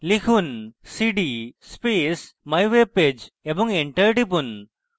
লিখুন: cd space mywebpage এবং enter টিপুন